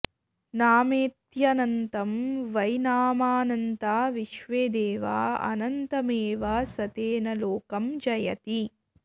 नामेत्यनन्तं वै नामानन्ता विश्वे देवा अनन्तमेव स तेन लोकं जयति